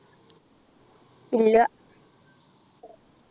ഇല്ല